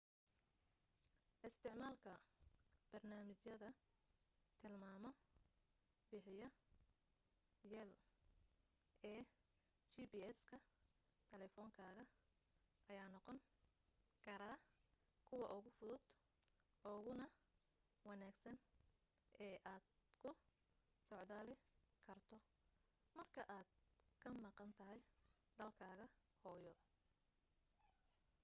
isticmaalka barnamiijyada tilmaamo bixiya yaal ee gps-ka taleefankaga ayaa noqon kara kuwa ugu fudud uguna wanaagsan ee aad ku socdaali karto marka aad ka maqan tahay dalkaaga hooyo